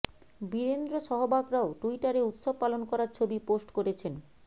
বীরেন্দ্র সহবাগরাও ট্যুইটারে উৎসব পালন করার ছবি পোস্ট করেছেন